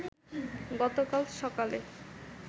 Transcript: গতকাল সকালে